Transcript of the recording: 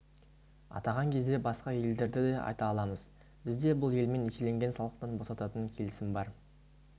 атаған кезде басқа елдерді де айта аламыз бізде бұл елмен еселенген салықтан босататын келісім бар